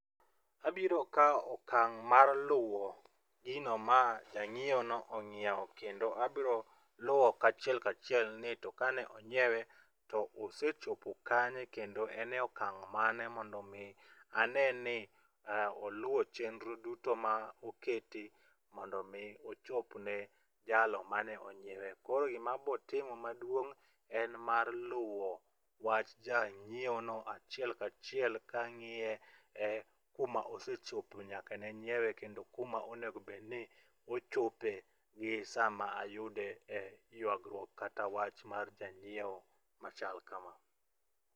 Abiro kawo okang' mar luwo gino ma ja ng'iewono ong'iewo kendo abiro luwo kachiel ka achiel ni to kane onyiewe to osechopo kanye kendo en e okang' mane mondo mi ane ni oluwo chenro duto ma oketi mondo mi ochop ne jalo mane onyiewe. Koro gima abiro timo maduong' en mar luwo wach ja nyiewono achiel ka achiel kang'iye kuma osechope nyaka ne nyiewe kod kuma onego bed ni ochope gi sama ayude yuagruok kata wach mar janyiewo machal kama.